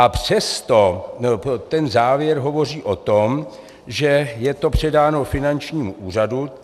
A přesto ten závěr hovoří o tom, že je to předáno finančnímu úřadu.